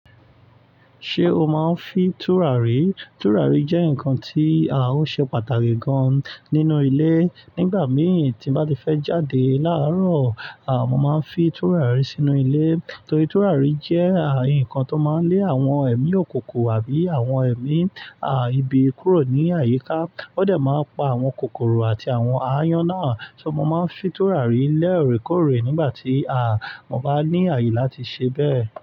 Ṣé o máa ń fi tùràrí? Tùràrí jẹ́ nǹkan tí à ń ṣe pàtàkì gan nínú ilé. Nígbà mìíràn tí n bá ti fẹ́ jáde láàárọ̀, à mo máa ń fi tùràrí sínú ilé. Nítorí tùràrí jẹ́ à nǹkan tó máa ń lé àwọn ẹ̀mí òkúnkún àbí àwọn ẹ̀mí à ibi kúrò ní àyíká. Ó dà máa ń pa àwọn kòkòrò àti àwọn aáyán náà. Ṣo mo máa ń fi tùràrí lé ọ̀rẹ́kọ̀ọ̀rẹ́ nígbà tí à mo bá ní àyè láti ṣe bẹ́ẹ̀?